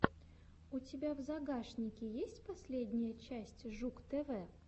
у тебя в загашнике есть последняя часть жук тв